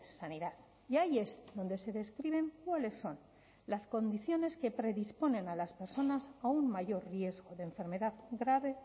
sanidad y ahí es donde se describen cuáles son las condiciones que predisponen a las personas a un mayor riesgo de enfermedad grave